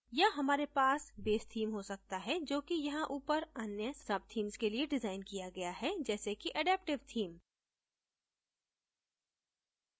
या हमारे पास base theme हो सकता है जो कि यहाँ ऊपर अन्य subthemes के लिए डिजाइन किया गया है जैसे कि adaptive theme